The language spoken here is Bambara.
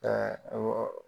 awɔ